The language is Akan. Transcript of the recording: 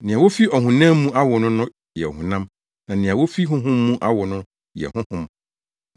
Nea wofi ɔhonam mu awo no no yɛ ɔhonam na nea wofi Honhom mu awo no no yɛ honhom.